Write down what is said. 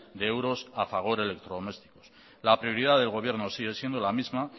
de euros a fagor electrodomésticos la prioridad del gobierno sigue siendo la misma